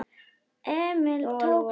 Emil tók sér stöðu.